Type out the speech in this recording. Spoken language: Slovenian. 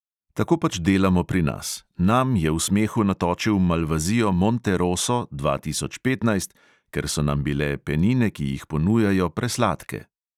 Tako pač delamo pri nas, nam je v smehu natočil malvazijo monte roso, dva tisoč petnajst, ker so nam bile penine, ki jih ponujajo, presladke.